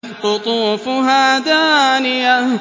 قُطُوفُهَا دَانِيَةٌ